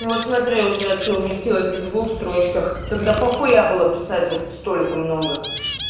ну вот смотри у тебя все вместилось в двух строчках тогда похуя было писать вот столько много